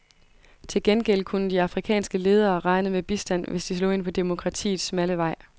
Til gengæld kunne de afrikanske ledere regne med bistand, hvis de slog ind på demokratiets smalle vej.